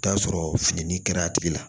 Taa sɔrɔ fini kɛra a tigi la